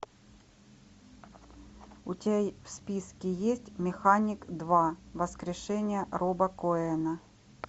у тебя в списке есть механик два воскрешение роба коэна